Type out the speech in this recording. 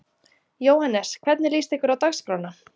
Jóhannes: Hvernig líst ykkur á dagskrána?